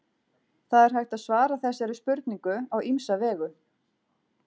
Það er hægt að svara þessari spurningu á ýmsa vegu.